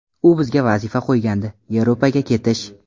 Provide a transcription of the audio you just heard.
U bizga vazifa qo‘ygandi Yevropaga ketish.